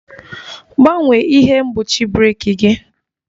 Gbanwee ihe mgbochi breeki gi!